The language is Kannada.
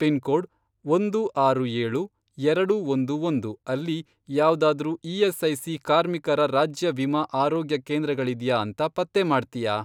ಪಿನ್ಕೋಡ್, ಒಂದು ಆರು ಏಳು, ಎರಡು ಒಂದು ಒಂದು, ಅಲ್ಲಿ ಯಾವ್ದಾದ್ರೂ ಇ.ಎಸ್.ಐ.ಸಿ. ಕಾರ್ಮಿಕರ ರಾಜ್ಯ ವಿಮಾ ಆರೋಗ್ಯಕೇಂದ್ರ ಗಳಿದ್ಯಾ ಅಂತ ಪತ್ತೆ ಮಾಡ್ತ್ಯಾ?